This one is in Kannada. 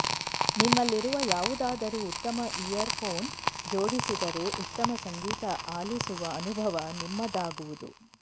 ನಿಮ್ಮಲ್ಲಿರುವ ಯಾವುದಾದರೂ ಉತ್ತಮ ಇಯರ್ಫೋನ್ ಜೋಡಿಸಿದರೆ ಉತ್ತಮ ಸಂಗೀತ ಆಲಿಸುವ ಅನುಭವ ನಿಮ್ಮದಾಗುವುದು